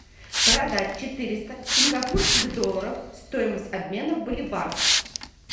продать четыреста сингапурских долларов стоимость обмена в боливар